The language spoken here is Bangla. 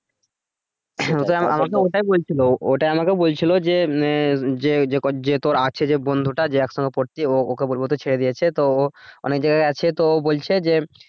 হ্যাঁ আমাকে ওটাই বলছিলো ওটাই আমাকে বলছিল যে মানে যে তোর আছে যে বন্ধু টা যে একসঙ্গে পরছি ও ওকে বলবে তো ছেড়ে দিয়েছে তো অনেক জায়গা আছে তো ও বলছে যে